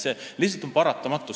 See on lihtsalt paratamatu.